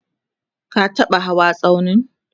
ka taɓa hawa tsaunin?